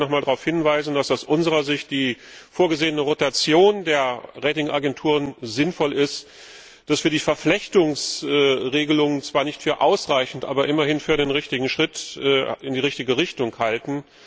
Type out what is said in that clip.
Ich möchte aber noch einmal darauf hinweisen, dass aus unserer Sicht die vorgesehene Rotation der Ratingagenturen sinnvoll ist, dass wir die Verflechtungsregelung zwar nicht für ausreichend, aber immerhin für einen Schritt in die richtige Richtung halten.